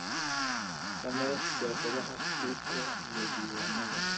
Samee siyaasadaha iibka iyo diiwaanada.